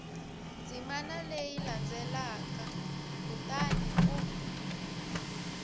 ndzimana leyi landzelaka kutani u